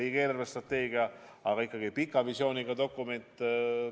Riigi eelarvestrateegia on ikkagi pika visiooniga dokument.